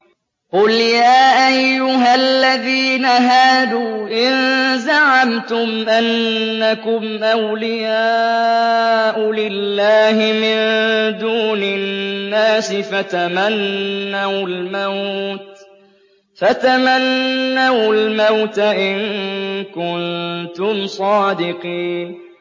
قُلْ يَا أَيُّهَا الَّذِينَ هَادُوا إِن زَعَمْتُمْ أَنَّكُمْ أَوْلِيَاءُ لِلَّهِ مِن دُونِ النَّاسِ فَتَمَنَّوُا الْمَوْتَ إِن كُنتُمْ صَادِقِينَ